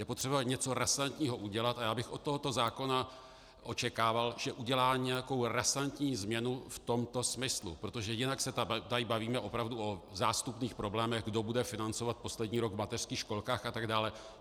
Je potřeba něco razantního udělat a já bych od tohoto zákona očekával, že udělá nějakou razantní změnu v tomto smyslu, protože jinak se tady bavíme opravdu o zástupných problémech, kdo bude financovat poslední rok v mateřských školkách atd.